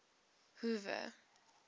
hoover